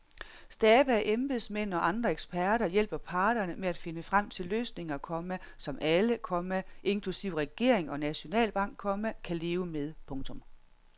Stabe af embedsmænd og andre eksperter hjælper parterne med at finde frem til løsninger, komma som alle, komma inklusive regering og nationalbank, komma kan leve med. punktum